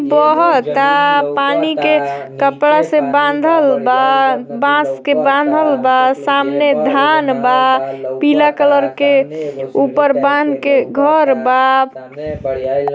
बहता पानी के कपड़ा से बांधल बा बांस के बांधल बा। सामने धान बा पीला कलर के ऊपर बान्ह के घर बा।